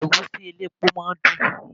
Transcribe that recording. Ẹ̀gúsí elépo máa ń dùn.